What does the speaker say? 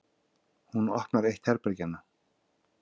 Hún opnar eitt herbergjanna.